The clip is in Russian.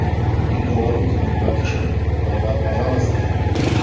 и говорю тебе братишка давай пожалуйста